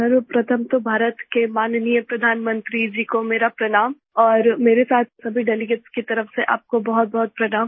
सर्वप्रथम तो भारत के माननीय प्रधानमंत्री जी कोमेरा प्रणाम और मेरे साथ सभी डेलीगेट्स की तरफ़ से आप को बहुतबहुत प्रणाम